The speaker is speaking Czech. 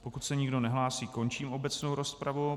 Pokud se nikdo nehlásí, končím obecnou rozpravu.